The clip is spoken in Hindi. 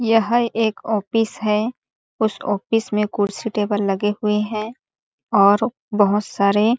यह एक ऑफिस है उस ऑफिस में कुर्सी टेबल लगे हुए है और बहुत सारे--